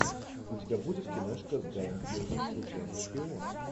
у тебя будет киношка с гаем пирсом случайный шпион